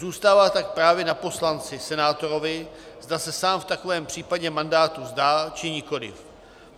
Zůstává tak právě na poslanci, senátorovi, zda se sám v takovém případě mandátu vzdá, či nikoli.